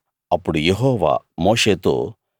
అప్పుడు యెహోవా మోషేతో